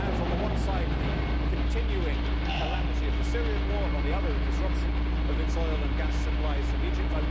It has, on the one side, the continuing calamity of the Syrian war and, on the other, a disruption of its oil and gas supplies from Egypt.